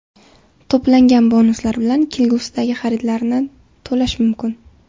To‘plangan bonuslar bilan kelgusidagi xaridlarni to‘lash mumkin.